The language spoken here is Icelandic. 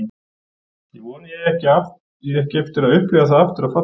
Ég vona að ég eigi ekki eftir að upplifa það aftur að falla.